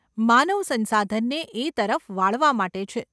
માનવ સંસાધનને એ તરફ વાળવા માટે છે.